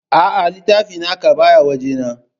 Aa, littafin naka baya waje na